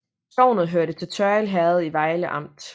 Sognet hørte til Tørrild Herred i Vejle Amt